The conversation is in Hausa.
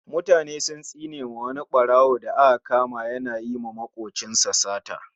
Mutane sun tsinewa wani ɓarawo da aka kama yana yiwa makwabcinsa sata